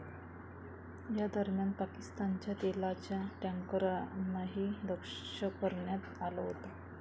या दरम्यान पाकिस्तानच्या तेलाच्या टॅन्करनाही लक्ष करण्यात आलं होतं.